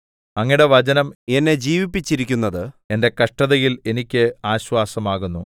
അങ്ങയുടെ വചനം എന്നെ ജീവിപ്പിച്ചിരിക്കുന്നത് എന്റെ കഷ്ടതയിൽ എനിക്ക് ആശ്വാസമാകുന്നു